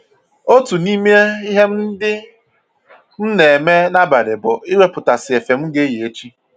Otu n'ime ihe ndị m na-eme n'abalị bụ iwepụtasị efe m ga-eyi echi